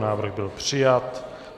Návrh byl přijat.